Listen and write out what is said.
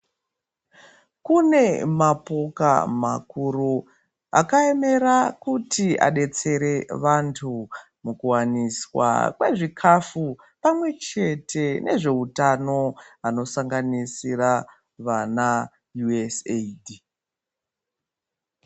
Kune ma poka makuru akayemera kuti abetsere vantu mukuwaniswa kwezvikafu pamwechete nezveutano vanosanganisira vana "USAID".